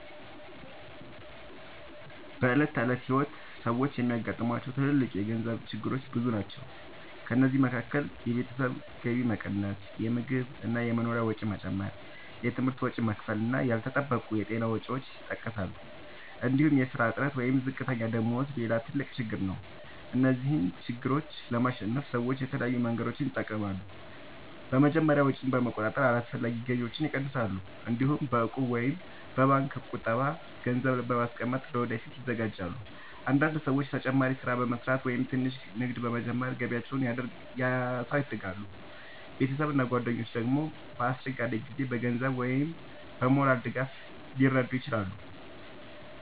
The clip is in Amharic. በዕለት ተዕለት ሕይወት ሰዎች የሚያጋጥሟቸው ትልልቅ የገንዘብ ችግሮች ብዙ ናቸው። ከእነዚህ መካከል የቤተሰብ ገቢ መቀነስ፣ የምግብ እና የመኖሪያ ወጪ መጨመር፣ የትምህርት ወጪ መክፈል እና ያልተጠበቁ የጤና ወጪዎች ይጠቀሳሉ። እንዲሁም የሥራ እጥረት ወይም ዝቅተኛ ደመወዝ ሌላ ትልቅ ችግር ነው። እነዚህን ችግሮች ለማሸነፍ ሰዎች የተለያዩ መንገዶችን ይጠቀማሉ። በመጀመሪያ ወጪን በመቆጣጠር አላስፈላጊ ግዢዎችን ይቀንሳሉ። እንዲሁም በእቁብ ወይም በባንክ ቁጠባ ገንዘብ በማስቀመጥ ለወደፊት ይዘጋጃሉ። አንዳንድ ሰዎች ተጨማሪ ሥራ በመስራት ወይም ትንሽ ንግድ በመጀመር ገቢያቸውን ያሳድጋሉ። ቤተሰብ እና ጓደኞች ደግሞ በአስቸጋሪ ጊዜ በገንዘብ ወይም በሞራል ድጋፍ ሊረዱ ይችላሉ።